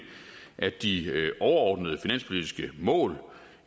at de overordnede finanspolitiske mål